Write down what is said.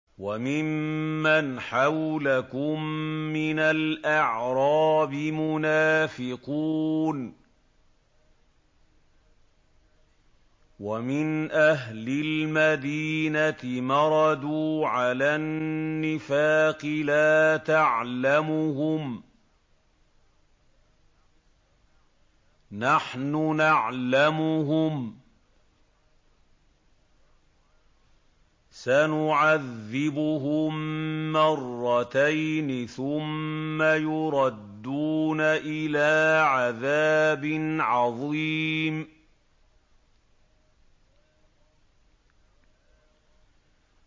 وَمِمَّنْ حَوْلَكُم مِّنَ الْأَعْرَابِ مُنَافِقُونَ ۖ وَمِنْ أَهْلِ الْمَدِينَةِ ۖ مَرَدُوا عَلَى النِّفَاقِ لَا تَعْلَمُهُمْ ۖ نَحْنُ نَعْلَمُهُمْ ۚ سَنُعَذِّبُهُم مَّرَّتَيْنِ ثُمَّ يُرَدُّونَ إِلَىٰ عَذَابٍ عَظِيمٍ